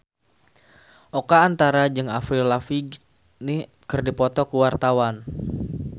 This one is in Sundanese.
Oka Antara jeung Avril Lavigne keur dipoto ku wartawan